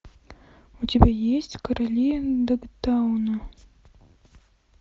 у тебя есть короли догтауна